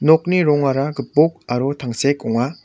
nokni rongara gipok aro tangsek ong·a.